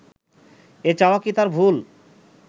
এ চাওয়া কি তার ভুল